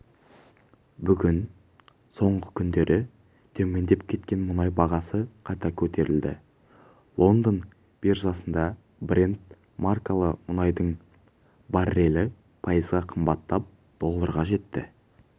бүгін соңғы күндері төмендеп кеткен мұнай бағасы қайта көтерілді лондон биржасында брент маркалы мұнайдың баррелі пайызға қымбаттап долларға жетті